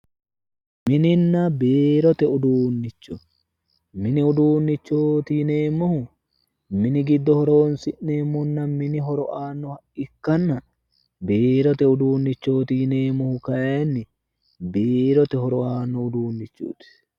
Mininna biirote uduunnicho mini uduunnichooti yineemmohu mini giddo horoonsi'neemmonna mini horo aannoha ikkanna biirote uduunnichooti yineemmohu kayinni biirote horo aanno uduunnichooti